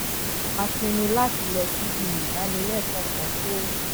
a pinnu láti lọ síbi ìdánilékòó kan tó